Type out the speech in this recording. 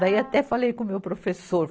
Daí, até falei com o meu professor.